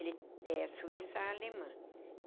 Ele é suíça-alemã.